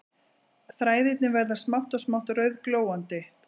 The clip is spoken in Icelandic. Þræðirnir verða smátt og smátt rauðglóandi